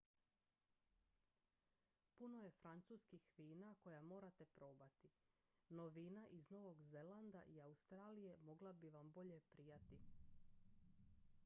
puno je francuskih vina koja morate probati no vina iz novog zelanda i australije mogla bi vam bolje prijati